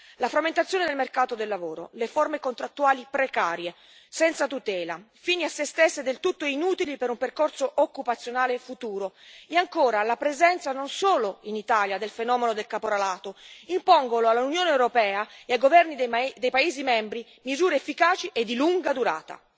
La frammentazione del mercato del lavoro, le forme contrattuali precarie, senza tutela, fini a se stesse e del tutto inutili per un percorso occupazionale futuro, e ancora la presenza, non solo in Italia, del fenomeno del caporalato, impongono all'Unione europea e ai governi dei paesi membri misure efficaci e di lunga durata.